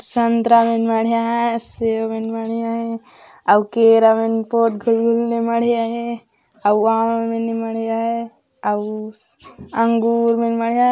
संतरा मन मांढ़े आहे सेव मन मांढ़े आहे अऊ केरा मन पोठ घुवून मन मांढ़े आहे अऊ स अंगूर मन मांढ़े आहे।